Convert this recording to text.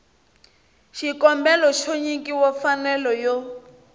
xikombelo xo nyikiwa mfanelo yo